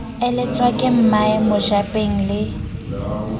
eletswa ke mmae mojabeng le